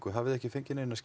hafið þið ekki fengið neinar